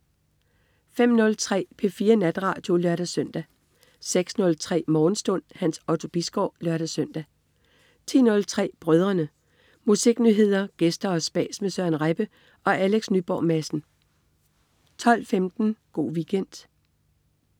05.03 P4 Natradio (lør-søn) 06.03 Morgenstund. Hans Otto Bisgaard (lør-søn) 10.03 Brødrene. Musiknyheder, gæster og spas med Søren Rebbe og Alex Nyborg Madsen 12.15 Go' Weekend